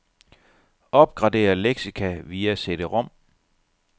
Opgradér leksika via cd-rom.